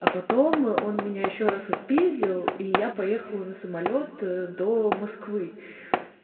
а потом он меня ещё раз отпиздил и я поехала на самолёт до москвы